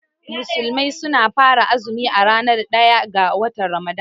Musulmai suna fara azumi a ranar ɗaya ga watan Ramadan.